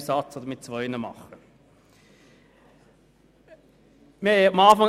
Am Anfang lag uns eine einzige Planungserklärung vor.